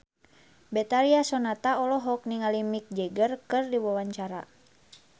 Betharia Sonata olohok ningali Mick Jagger keur diwawancara